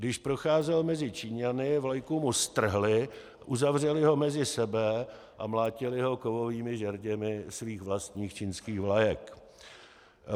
Když procházel mezi Číňany, vlajku mu strhli, uzavřeli ho mezi sebe a mlátili ho kovovými žerděmi svých vlastních čínských vlajek.